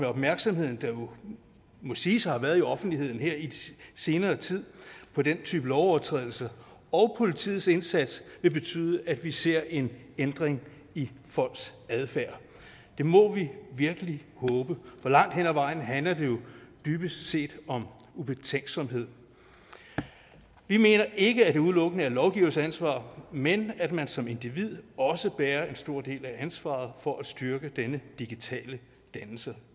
opmærksomhed der jo må siges at have været i offentligheden her i den senere tid på den type lovovertrædelser og politiets indsats vil betyde at vi ser en ændring i folks adfærd det må vi virkelig håbe for langt hen ad vejen handler det jo dybest set om ubetænksomhed vi mener ikke at det udelukkende er lovgivers ansvar men at man som individ også bærer en stor del af ansvaret for at styrke denne digitale dannelse